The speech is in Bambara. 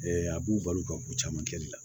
a b'u balo ka k'u caman kɛli la